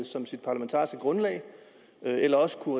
som sit parlamentariske grundlag eller også kunne